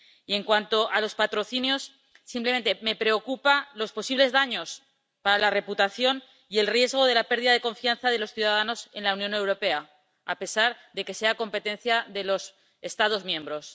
Y en cuanto a los patrocinios simplemente, me preocupan los posibles daños para la reputación y el riesgo de la pérdida de confianza de los ciudadanos en la Unión Europea, a pesar de que sean competencia de los Estados miembros.